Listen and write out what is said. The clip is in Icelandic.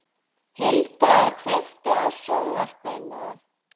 Hildar, kveiktu á sjónvarpinu.